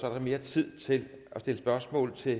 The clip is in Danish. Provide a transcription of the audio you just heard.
er der mere tid til at stille spørgsmål til